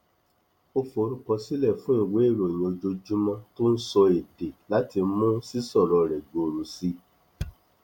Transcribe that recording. ó forúkọsílẹ fún ìwé ìròyìn ojoojúmọ tó ń sọ èdè láti mú sísọrọ rẹ gbòòrò sí i